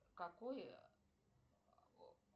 какой